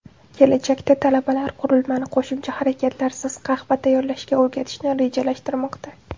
Kelajakda talabalar qurilmani qo‘shimcha harakatlarsiz qahva tayyorlashga o‘rgatishni rejalashtirmoqda.